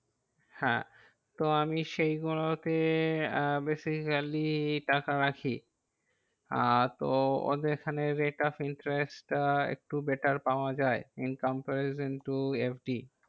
হ্যাঁ, তো আমি সেই গুলো তে আহ basically টাকা রাখি। আহ তো ওদের ওখানে rate of interest আহ একটু better পাওয়া যায়। in comparison to FD